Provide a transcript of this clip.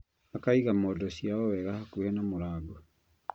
Akaiga mondo ciao wega hakuhĩ na mũrango